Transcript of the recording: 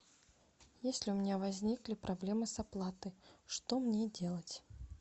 если у меня возникли проблемы с оплатой что мне делать